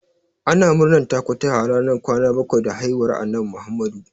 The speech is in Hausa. Ana murnan takutaha ranar kwana bakwai da haihuwar Annabi Muhammadu.